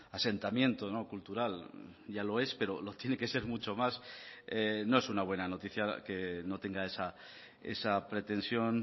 asentamiento cultural ya lo es pero lo tiene que ser mucho más no es una buena noticia que no tenga esa pretensión